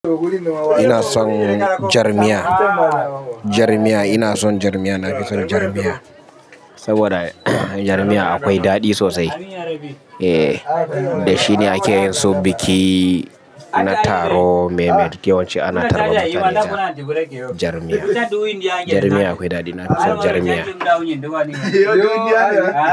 Ina son jar miya, jar miya. Ina son jar miya. Na fi son jar miya saboda jar miya akwai daɗi sosai. Eh, da shi ne ake yin sun, kina taro. Mafi yawanci ana taruwa da taliya. Jar miya, jar miya akwai daɗi. Na fi son jar miya.